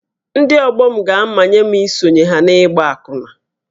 Ndị ọgbọ m ga-amanye m isonyere ha n’ịgba akwụna